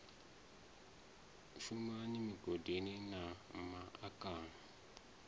shumaho migodini na ma akani